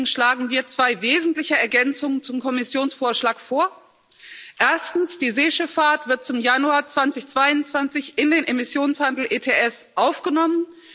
Deswegen schlagen wir zwei wesentliche Ergänzungen zum Kommissionsvorschlag vor Erstens Die Seeschifffahrt wird zum Januar 2022 in den Emissionshandel ETS aufgenommen.